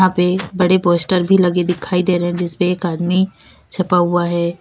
यहाँ पे बड़े पोस्टर भी लगे दिखाई दे रहे हैं जिसपे एक आदमी छपा हुआ है।